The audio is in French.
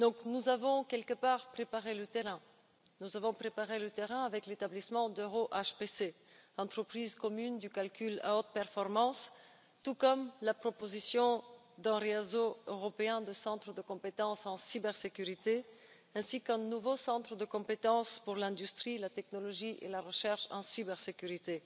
Nous avons donc en quelque sorte préparé le terrain, nous avons préparé le terrain avec l'établissement d'EuroHPC, l'entreprise commune pour le calcul à haute performance, avec la proposition d'un réseau européen de centres de compétences en cybersécurité, ainsi qu'avec un nouveau centre de compétences pour l'industrie, la technologie et la recherche en cybersécurité.